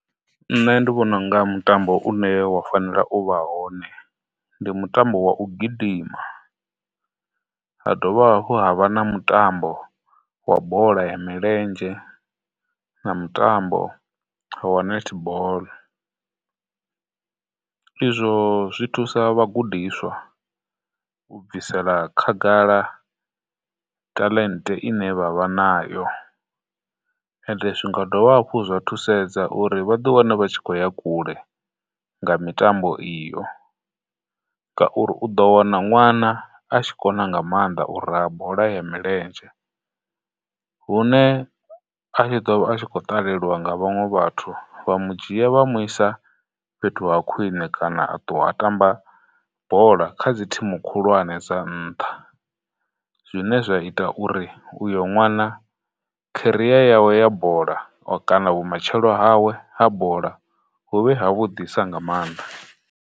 Nṋe ndi vhona u nga mutambo une wa fanela u vha hone ndi mutambo wa u gidima, ha dovha hafhu ha vha na mutambo wa bola ya milenzhe, na mutambo wa netball. Izwo zwithusa vhagudiswa u bvisela khagala taḽente ine vha vha nayo, ende zwi nga dovha hafhu zwa thusedza uri vhaḓi wane vha tshi khou ya kule nga mitambo iyo, ngauri u ḓo wana ṅwana a tshi kona nga maanḓa u raha bola ya milenzhe, hune a tshi ḓo vha a tshi khou ṱalelwa nga vhaṅwe vhathu, vha mu dzhia vha mu isa fhethu ha khwine, kana a ṱuwa a tamba bola kha dzi thimu khulwane dza nṱha, zwine zwa ita uri uyo ṅwana career yawe ya bola, o kana vhu matshelo hawe ha bola huvhe ha vhudisa nga maanḓa.